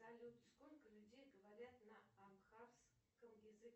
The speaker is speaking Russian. салют сколько людей говорят на амхарском языке